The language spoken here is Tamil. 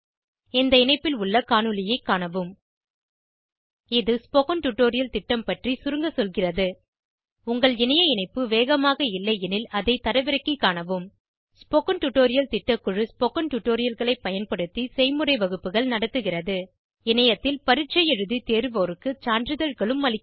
இந்த இணைப்பில் உள்ள காணொளியைக் காணவும் httpspoken tutorialorgWhat is a Spoken Tutorial இது ஸ்போகன் டுடோரியல் திட்டம் பற்றி சுருங்க சொல்கிறது உங்கள் இணைய இணைப்பு வேகமாக இல்லையெனில் அதை தரவிறக்கிக் காணவும் ஸ்போகன் டுடோரியல் திட்டக்குழு ஸ்போகன் டுடோரியல்களைப் பயன்படுத்தி செய்முறை வகுப்புகள் நடத்துகிறது இணையத்தில் பரீட்சை எழுதி தேர்வோருக்கு சான்றிதழ்களும் அளிக்கிறது